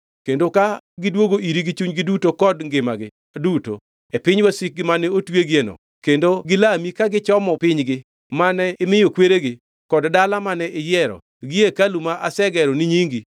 Kendo ka gidwogo iri gi chunygi duto kod ngimagi duto, e piny wasikgi mane otweyogieno, kendo gilami ka gichomo pinygi mane imiyo kweregi, kod dala mane iyiero, gi hekalu ma asegero ni nyingi;